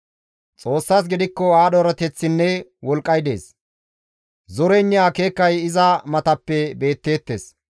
«Xoossas gidikko aadho erateththinne wolqqay dees; zoreynne akeekay iza matappe beetteettes.